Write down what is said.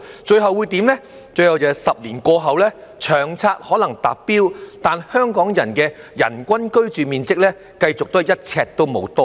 最後 ，10 年過去後，《長策》可能達標，但香港人的人均居住面積繼續"一呎都無多到"。